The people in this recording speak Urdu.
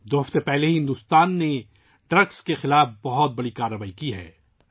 دو ہفتے قبل بھارت نے منشیات کے خلاف بڑی کارروائی کی ہے